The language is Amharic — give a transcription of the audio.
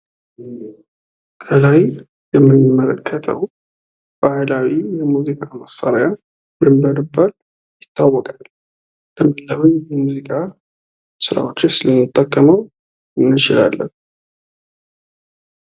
ከላይ የምንመለከተው ባህላዊ የሙዚቃ መሳሪያ ምን በመባል ይታወቃል? ለምን ለምን ሙዚቃዎችስ እንጠቀመዋለን?